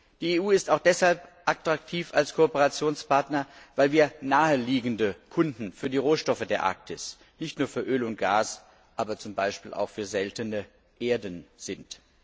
Die EU ist auch deshalb als Kooperationspartner attraktiv, weil wir naheliegende Kunden für die Rohstoffe der Arktis nicht nur für Öl und Gas, aber zum Beispiel auch für seltene Erden sind.